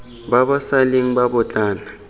ba ba sa leng babotlana